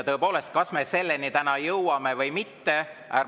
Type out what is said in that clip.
Tõepoolest, kas me selleni täna jõuame või mitte?